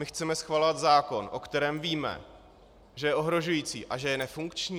My chceme schvalovat zákon, o kterém víme, že je ohrožující a že je nefunkční?